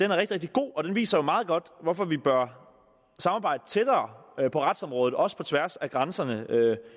rigtig god og den viser meget godt hvorfor vi bør samarbejde tættere på retsområdet også på tværs af grænserne